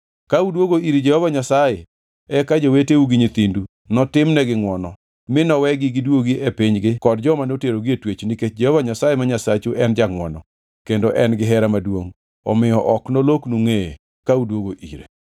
Ka udwogo ir Jehova Nyasaye eka joweteu gi nyithindu notimnegi ngʼwono mi nowegi giduogi e pinygi kod joma noterogi e twech nikech Jehova Nyasaye ma Nyasachu en jangʼwono kendo en gihera maduongʼ omiyo ok noloknu ngʼeye ka udwogo ire.”